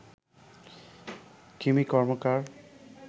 Kimi Karmakar